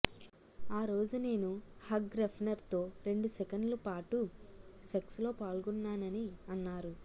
ఆ రోజు నేను హాగ్ రెఫ్నర్తో రెండు సెకన్లు పాటు సెక్సులో పాల్గోన్నానని అన్నారు